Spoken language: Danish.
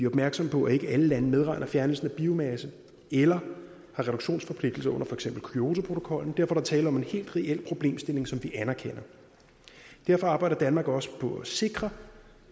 opmærksomme på at ikke alle lande medregner fjernelsen af biomasse eller har reduktionsforpligtelser under for eksempel kyotoprotokollen derfor er der tale om en helt reel problemstilling som vi anerkender og derfor arbejder danmark også på at sikre